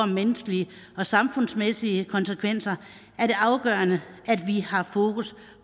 menneskelige og samfundsmæssige konsekvenser er det afgørende at vi har fokus